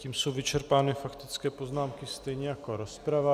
Tím jsou vyčerpány faktické poznámky, stejně jako rozprava.